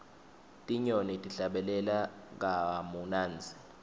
tinyoni tihlabelela kamunandzi